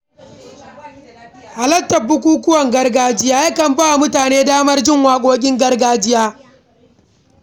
Halartar bukukuwan gargajiya ya kan ba wa mutane damar jin waƙoƙi na gargajiya.